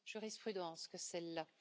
jurisprudence que celle là.